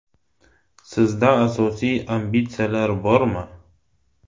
Sizda siyosiy ambitsiyalar bormi?